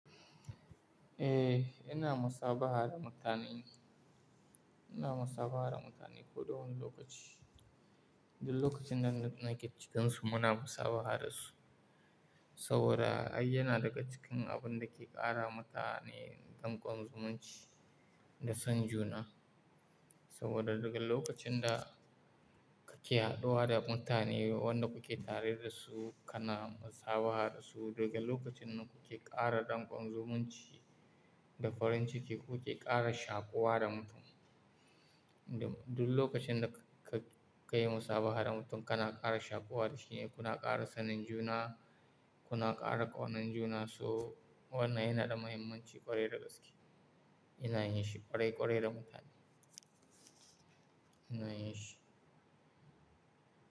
Eh, ina musabaha da mutane. Ina musabaha da mutane ko da wane lokaci. Duk lokacin da nake cikin su muna musabaha da su. Saboda ai yana daga cikin abun da ke ƙara mutane danƙon zumunci da san juna. Saboda duk lokacin da kake haɗuwa da mutane wanda kuke tare da su kana musabaha da su, daga lokacin nan kuke ƙara danƙon zumunci da farin ciki, kuke ƙara shaƙuwa da mutum. Duk lokacin da ka kai musabaha da mutum kana ƙara shaƙuwa da shi ne, kuna ƙara sanin juna, kuna ƙara ƙaunan juna, so wannan yana da mahimmanci ƙwarai da gaske. Ina yin shi ƙwarai ƙwarai da mutane. Ina yin shi.